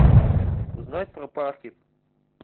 узнать про парки